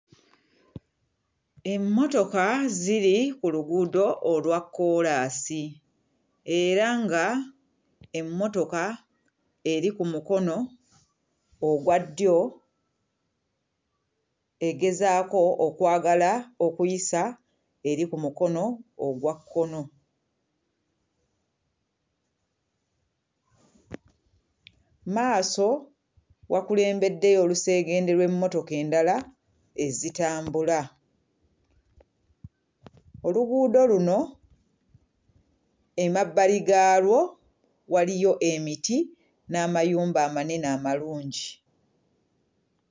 Emmotoka ziri ku luguudo olwa kkoolaasi era nga emmotoka eri ku mukono ogwa ddyo egezaako okwagala okuyisa eri ku mukono ogwa kkono. Mu maaso wakulembeddeyo oluseegende lw'emmotoka endala ezitambula. Oluguudo luno emabbali gaalwo waliyo emiti n'amayumba amanene amalungi.